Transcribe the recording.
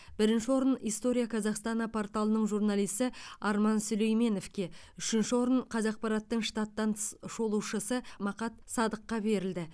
бірінші орын история казахстана порталының журналисі арман сүлейменовке үшінші орын қазақпараттың штаттан тыс шолушысы мақат садыққа берілді